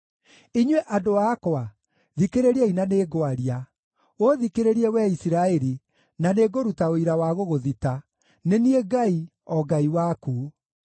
“Inyuĩ andũ akwa, thikĩrĩriai na nĩngwaria, ũthikĩrĩrie, wee Isiraeli, na nĩngũruta ũira wa gũgũthita: nĩ niĩ Ngai, o Ngai waku.